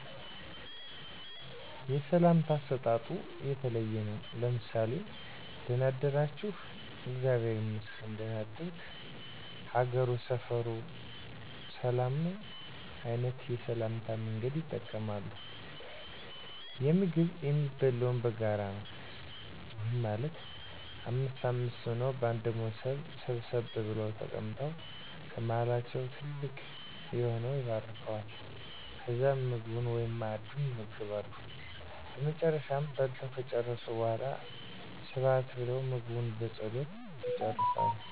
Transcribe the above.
የሰላምታ አሰጣጡ የተለየ ነው። ምሳሌ:- ደና አደራችሁ? እግዚአብሔር ይመስገን ደና አደርክ? ሀገሩ፣ ሰፋሩ ሁሉ ጫታ ነው? አይነት የሰላምታ መንገዶችን ይጠቀማሉ። የምግብ የሚበላው በጋራ ነው። ይህም ማለት አምስት አምስት ሆነው በአንድ ሞሰብ ሰብሰብ ብለው ተቀምጠው ከመሀላቸው ትልቅ የሆነው ይባርከዋል። ከዛም ምግቡን(መአዱን) ይመገባሉ። በመጨረሻም በልተው ከጨረሱ በሗላ ስብሀት ብለው ምግቡን በፀሎት ይጨርሳሉ።